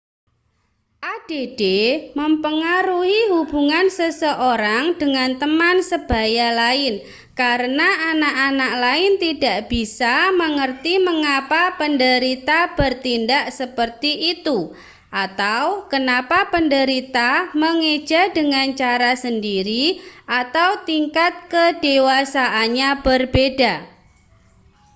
add mempengaruhi hubungan seseorang dengan teman sebaya lain karena anak-anak lain tidak bisa mengerti mengapa penderita bertindak seperti itu atau kenapa penderita mengeja dengan cara sendiri atau tingkat kedewasaannya berbeda